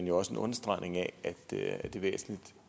jo også en understregning af at det er væsentligt